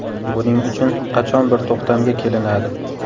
Buning uchun qachon bir to‘xtamga kelinadi?